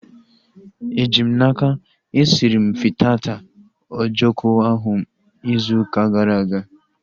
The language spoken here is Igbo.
Eji m n'aka, esiri m fitata ojoko ahu izu ụka gara aga